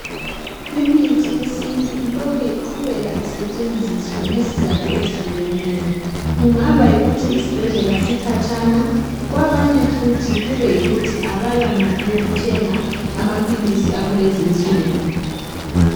Imithi yesintu ilokhe iqhubeka isetshenziswa ngezizatho ezihlukeneyo kungaba yikuthi isibhedlela sikhatshana kwabanye futhi kube yikuthi abala mali yokuthenga amaphilisi akulezinsuku